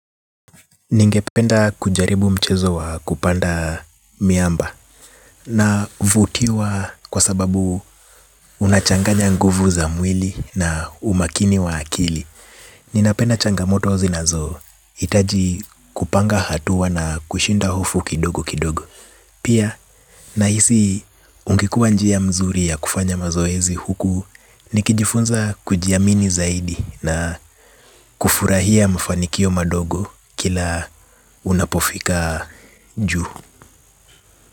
Ningependa kujaribu mchezo wa kupanda miamba navutiwa kwa sababu unachanganya nguvu za mwili na umakini wa akili. Ninapenda changamoto wa zinazohitaji kupanga hatua na kushinda hofu kidogo kidogo. Pia nahisi ingekuwa njia nzuri ya kufanya mazoezi huku nikijifunza kujiamini zaidi na kufurahia mafanikio madogo kila unapofika juu.